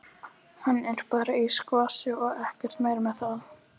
Hann er bara í skvassi og ekkert meira með það.